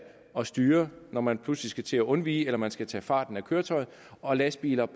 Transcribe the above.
at styre når man pludselig skal til at undvige eller man skal tage farten af køretøjet og lastbiler